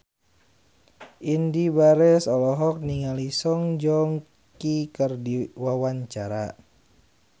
Indy Barens olohok ningali Song Joong Ki keur diwawancara